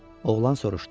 Oğlan soruşdu.